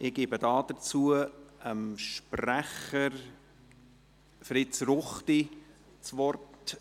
Ich gebe dazu dem Sprecher Fritz Ruchti das Wort.